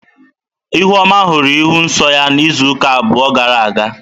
Ihuoma hụrụ ịhụ nsọ ya izuụka abụọ gara aga.